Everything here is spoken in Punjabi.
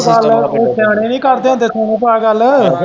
ਉਹ ਸਿਆਣੇ ਨੀ ਕਰਦੇ ਹੁੰਦੇ ਸੋਨੂੰ ਭਾਅ ਗੱਲ।